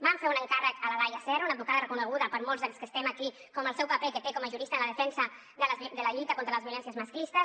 vam fer un encàrrec a la laia serra una advocada reconeguda per molts dels que estem aquí pel seu paper que té com a jurista en la defensa de la lluita contra les violències masclistes